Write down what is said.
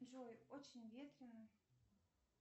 джой очень ветренно